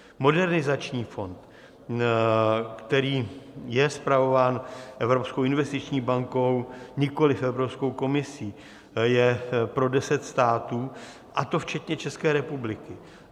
Modernizační fond, který je spravován Evropskou investiční bankou, nikoliv Evropskou komisí, je pro deset států, a to včetně České republiky.